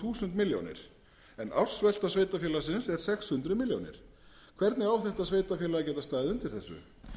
þúsund milljónir en ársvelta sveitarfélagi er sex hundruð milljónir hvernig á þetta sveitarfélag að geta staðið undir þessu